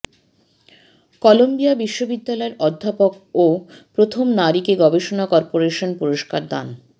Colombia বিশ্ববিদ্যালয়ের অধ্যাপক ও প্রথম নারীকে গবেষণা কর্পোরেশন পুরস্কার দান